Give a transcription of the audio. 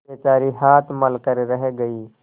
बेचारी हाथ मल कर रह गयी